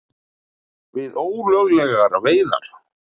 Við ólöglegar veiðar